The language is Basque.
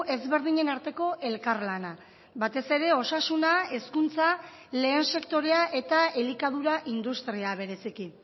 ezberdinen arteko elkarlana batez ere osasuna hezkuntza lehen sektorea eta elikadura industria bereziki